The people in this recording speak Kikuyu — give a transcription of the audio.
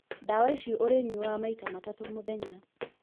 Ndawa ici ũrĩ nyuaga maita matatũ mũthenya.